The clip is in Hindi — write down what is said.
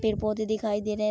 पेड़-पौधे दिखाई दे रहे हैं।